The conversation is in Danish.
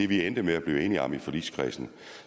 vi endte med at blive enige om i forligskredsen